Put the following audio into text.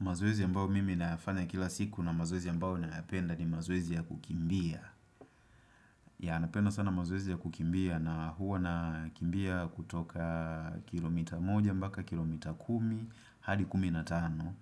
Mazoezi ambao mimi nafanya kila siku na mazoezi ambao napenda ni mazoezi ya kukimbia. Ya napenda sana mazoezi ya kukimbia na huwa na kimbia kutoka kilomita moja mpaka kilomita kumi, hadi kumi na tano.